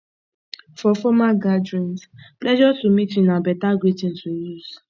for formal gatherings pleasure to meet you na beta greeting to use